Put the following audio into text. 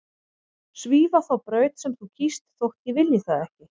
Svífa þá braut sem þú kýst þótt ég vilji það ekki.